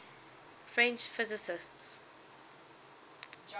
french physicists